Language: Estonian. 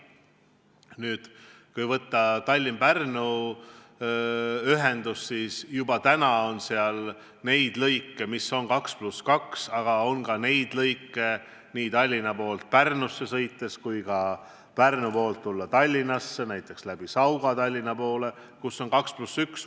Nüüd, kui võtta Tallinna ja Pärnu vaheline ühendus, siis juba täna on seal 2 + 2 lõike, aga on ka 2 + 1 lõike nii Tallinna poolt Pärnusse sõites kui ka Pärnu poolt Tallinnasse, näiteks läbi Sauga Tallinnasse tulles.